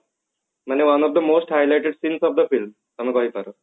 ମାନେ one of the most highlighted since of the film